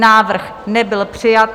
Návrh nebyl přijat.